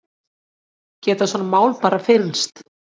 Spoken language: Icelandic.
Geta svona mál bara fyrnst?